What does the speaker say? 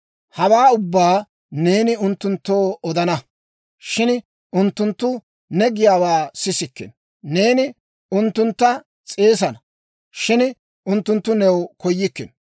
«Hawaa ubbaa neeni unttunttoo odana; shin unttunttu ne giyaawaa sissikkino. Neeni unttuntta s'eesana; shin unttunttu new koyikkino.